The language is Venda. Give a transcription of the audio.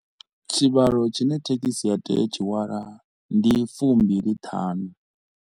Tshivhalo tshi ne thekhisi ya tea u tshihwala ndi fumbili thanu.